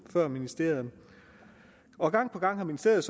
før ministeriet og gang på gang har ministeriet